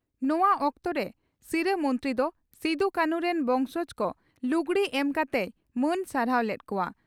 ᱱᱚᱣᱟ ᱚᱠᱛᱚᱨᱮ ᱥᱤᱨᱟᱹ ᱢᱚᱱᱛᱨᱤ ᱫᱚ ᱥᱤᱫᱩ ᱠᱟᱹᱱᱦᱩ ᱨᱤᱱ ᱵᱚᱸᱝᱥᱚᱡᱽ ᱠᱚ ᱞᱩᱜᱽᱲᱤ ᱮᱢ ᱠᱟᱛᱮᱭ ᱢᱟᱹᱱ ᱥᱟᱨᱦᱟᱣ ᱞᱮᱫ ᱠᱚᱣᱟ ᱾